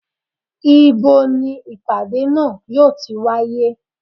ibo ní ìpàdé náà yóò ti wáyé?